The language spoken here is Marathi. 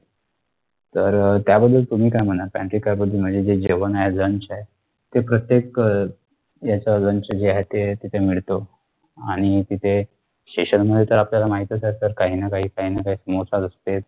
तर अं त्याबद्दल तुम्ही काय म्हणाल कारण की त्याबद्दल माझे जे जेवण आहे lunch आहे ते प्रत्येक अह याच्या lunch जे आहे ते तिथे मिडतो आणि तिथे station मध्ये त आपल्याला माहीतच आहे SIR काहीनाकाही काहीनाकाही समोसा दिसते